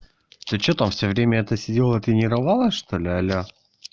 ты что там всё время это сидела и тренировалась что ли алё